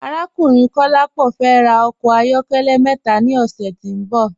Arákùnrin Kọ̀lápọ fẹ́ rà ọkọ ayọ̀kẹlẹ̀ mẹta ni ọṣẹ̀ tí n bọ̀.